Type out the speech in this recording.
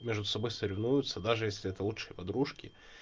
между собой соревнуются даже если это лучшие подружки